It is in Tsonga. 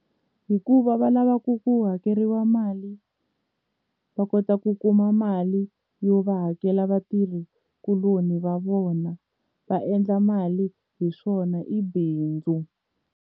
Hikuva va lavaku ku hakeriwa mali va kota ku kuma mali yo va hakela vatirhikuloni va vona va endla mali hi swona i bindzu.